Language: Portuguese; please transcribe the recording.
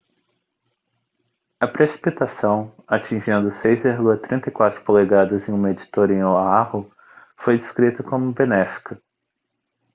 a precipitação atingindo 6,34 polegadas em um medidor em oahu foi descrita como benéfica